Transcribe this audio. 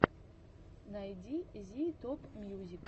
найди зи топмьюзик